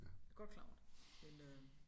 Jeg godt klar over det men øh